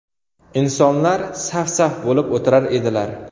Insonlar saf-saf bo‘lib o‘tirar edilar.